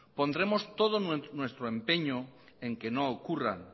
pondremos todo nuestro empeño en que no ocurran